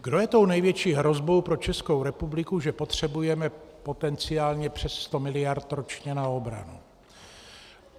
Kdo je tou největší hrozbou pro Českou republiku, že potřebujeme potenciálně přes 100 miliard ročně na obranu?